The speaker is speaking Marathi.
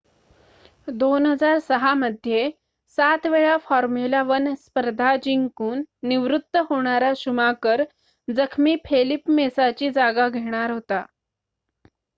2006 मध्ये 7 वेळा फॉर्म्युला 1 स्पर्धा जिंकून निवृत्त होणारा शुमाकर जखमी फेलिप मेसाची जागा घेणार होता